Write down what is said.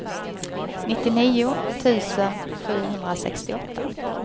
nittionio tusen sjuhundrasextioåtta